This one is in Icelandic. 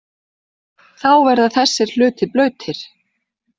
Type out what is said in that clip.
Þá verða þessir hlutir blautir.